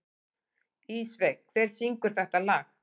Ísveig, hver syngur þetta lag?